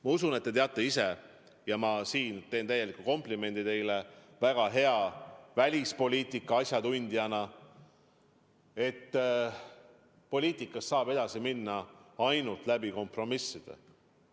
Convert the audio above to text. Ma usun, et te teate hästi – ma teen siin teile kui väga heale välispoliitika asjatundjale komplimendi –, et poliitikas saab edasi minna ainult läbi kompromisside.